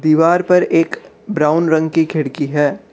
दीवार पर एक ब्राउन रंग की खिड़की है।